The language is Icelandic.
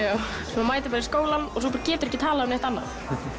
þú mætir bara í skólann svo geturðu ekki talað um neitt annað